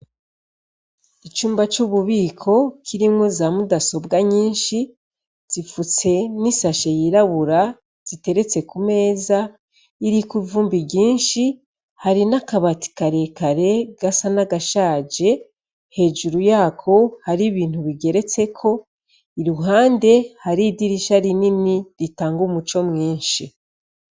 Icumba c'ububiko kirimwo za Mudasobwa nyinshi zipfutse n'ishashe yirabura zigeretse ku meza iriko ivumbi ryinshi ; hari n'akabati karekare gasa n'agashaje hejuru yako hari ibintu bigeretseko. Iruhande hari idirisha rinini ritanga umuco mwinshi.